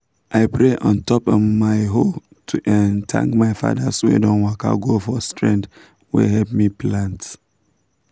i pray on top um my hoe to um thank my fathers wey don waka go for strength wey help me plant.